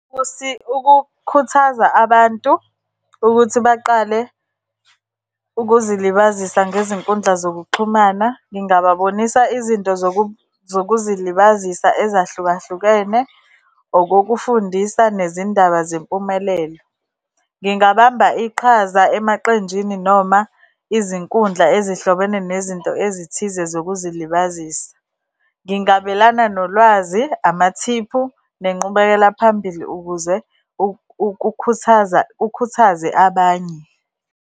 Ukukhuthaza abantu ukuthi baqale ukuzilibazisa ngezinkundla zokuxhumana, ngingababonisa izinto zokuzilibazisa ezahlukahlukene, okokufundisa, nezindaba zempumelelo. Ngingabamba iqhaza emaqenjini, noma izinkundla ezihlobene nezinto ezithize zokuzilibazisa. Ngingabelana nolwazi, amathiphu, nenqubekela phambili ukuze ukukhuthaza, ukhuthaze abanye.